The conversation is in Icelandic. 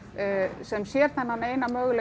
sem sér þennan eina möguleika